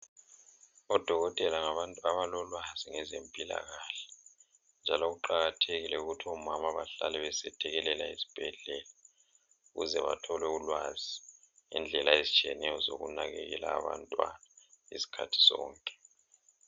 Odokotela ngabantu abalolwazi ngezempilakahle njalo kuqakathekile ukuthi omama bahlale besethekelela ezibhedlela ukuze bathole ulwazi ngendlela ezitshiyeneyo zokunakekela abantwana izikhathi zonke.